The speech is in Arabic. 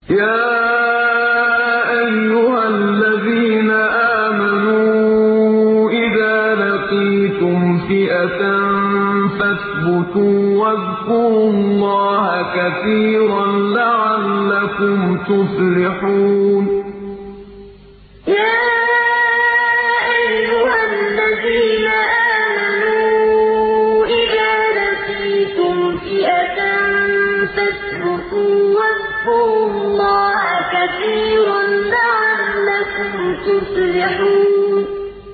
يَا أَيُّهَا الَّذِينَ آمَنُوا إِذَا لَقِيتُمْ فِئَةً فَاثْبُتُوا وَاذْكُرُوا اللَّهَ كَثِيرًا لَّعَلَّكُمْ تُفْلِحُونَ يَا أَيُّهَا الَّذِينَ آمَنُوا إِذَا لَقِيتُمْ فِئَةً فَاثْبُتُوا وَاذْكُرُوا اللَّهَ كَثِيرًا لَّعَلَّكُمْ تُفْلِحُونَ